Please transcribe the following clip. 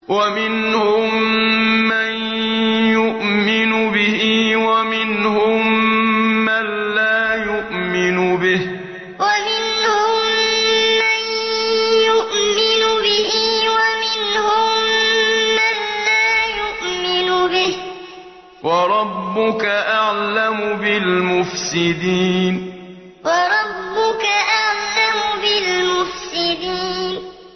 وَمِنْهُم مَّن يُؤْمِنُ بِهِ وَمِنْهُم مَّن لَّا يُؤْمِنُ بِهِ ۚ وَرَبُّكَ أَعْلَمُ بِالْمُفْسِدِينَ وَمِنْهُم مَّن يُؤْمِنُ بِهِ وَمِنْهُم مَّن لَّا يُؤْمِنُ بِهِ ۚ وَرَبُّكَ أَعْلَمُ بِالْمُفْسِدِينَ